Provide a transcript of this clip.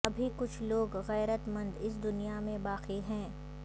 ابھی کچھ لوگ غیرت مند اس دنیا میں باقی ہیں